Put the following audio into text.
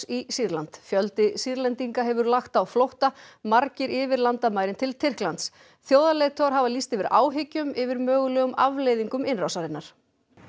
í Sýrland fjöldi Sýrlendinga hefur lagt á flótta margir yfir landamærin til Tyrklands þjóðarleiðtogar hafa lýst yfir áhyggjum yfir mögulegum afleiðingum innrásarinnar